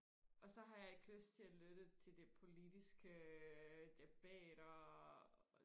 og så har jeg ikke lyst til og lytte til de politiske debatter og